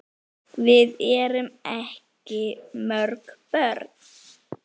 Hvort tveggja eru skosk nöfn.